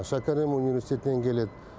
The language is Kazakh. шәкәрім университетінен келеді